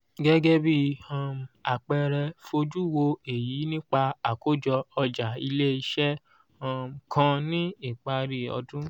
gege bi um àpẹẹrẹ fojú wò èyí nípa àkójọ ọjà ileese um kàn ní ìparí ọdún